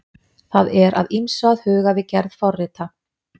Það er að ýmsu að huga við gerð forrita.